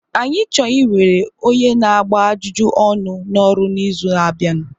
Anyị chọrọ iwere onye na-agba ajụjụ ọnụ n'ọrụ n'izu na-abịa.